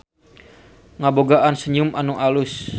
Ngabogaan senyum anu alus.